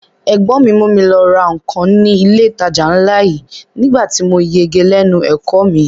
Ẹ̀gbọ́n mi mú mi lọ ra nǹkan ní ilé ìtajà ńlá yìí nígbà tí mo yege lẹ́nu ẹ̀kọ́ ọ mi